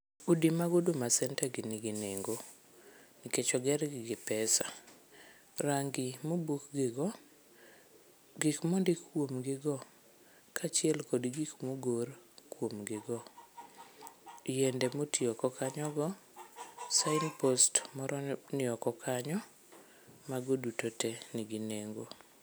Udi mag Huduma centre gi ningi nengo nikech oger gi gi pesa. Rangi ma obukgi go, gikma ondik kuom gi go kachiel kod gik ma ogor kuom gi go. Yiende motiyo go kanyogo, sign post moro ni oko kanyo, mago duto tee nigi nengo